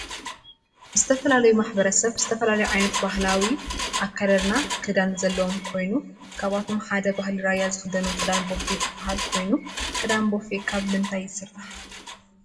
ዝተፈላለዩ ማሕበረሰብ ዝተፈላለዩ ዓይነት ባህላዊ አከዳድና ክዳን ዘለዎም ኾይኑ ካብአቶም ሓደ ባህሊ ራያ ዝክደንዎ ክዳን ቦፌ ዝብሃል ኮይኑ። ክዳን ቦፌ ካብ ምንታይ ይስራሕ?